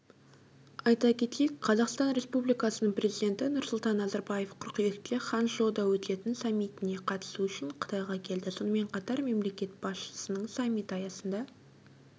айта кетейік қазақстан республикасының президенті нұрсұлтан назарбаев қыркүйекте ханчжоуда өтетін саммитіне қатысу үшін қытайға келді сонымен қатар мемлекет басшысының саммит аясында